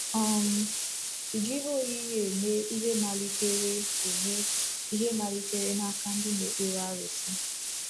um Iji ihe oyiyi eme ihe malitere eme ihe malitere n’aka ndị na-ekpere arụsị